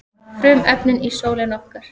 frumefnin í sólinni okkar